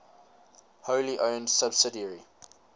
wholly owned subsidiary